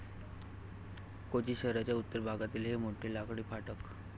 कोची शहराच्या उत्तर भागातील हे मोठे लाकडी फाटक.